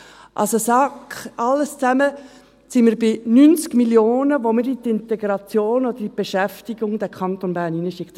Also sind wir, alles zusammen genommen, bei 90 Mio. Franken, die wir in die Integration oder in die Beschäftigung in diesen Kanton Bern reinschicken.